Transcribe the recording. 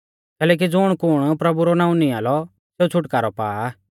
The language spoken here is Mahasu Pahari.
कैलैकि ज़ुणकुण प्रभु रौ नाऊं नियां लौ सेऊ छ़ुटकारौ पा